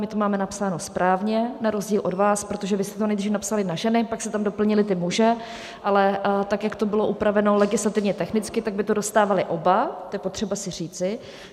My to máme napsáno správně na rozdíl od vás, protože vy jste to nejdřív napsali na ženy, pak jste tam doplnili ty muže, ale tak, jak to bylo upraveno legislativně technicky, tak by to dostávali oba, to je potřeba si říci.